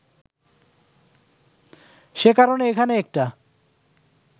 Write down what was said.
সে কারণে এখানে একটা